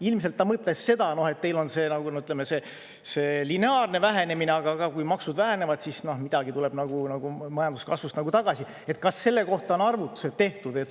Ilmselt ta mõtles seda, et teil on see lineaarne vähenemine, aga kui maksud vähenevad, siis midagi tuleb majanduskasvust tagasi, et kas selle kohta on arvutused tehtud.